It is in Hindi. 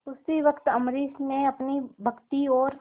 उसी वक्त अम्बरीश ने अपनी भक्ति और